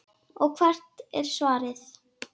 Og hvert er svarið?